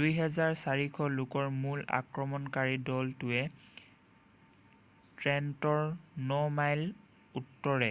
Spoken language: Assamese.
2,400 লোকৰ মূল আক্ৰমণকাৰী দলটোৱে ট্ৰেণ্টনৰ ন মাইল উত্তৰে